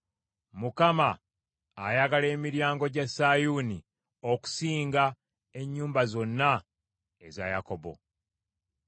Mukama ayagala emiryango gya Sayuuni okusinga ennyumba zonna eza Yakobo.